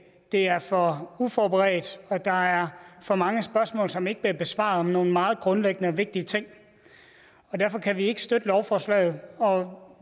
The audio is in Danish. det er for uforberedt og at der er for mange spørgsmål som ikke bliver besvaret om nogle meget grundlæggende og vigtige ting derfor kan vi ikke støtte lovforslaget og